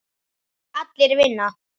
Allir vinna.